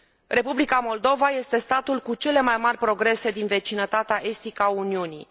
Republica Moldova este statul cu cele mai mari progrese din vecinătatea estică a Uniunii.